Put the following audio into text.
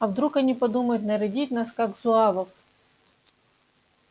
а вдруг они подумают нарядить нас как зуавов